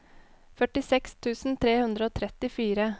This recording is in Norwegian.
førtiseks tusen tre hundre og trettifire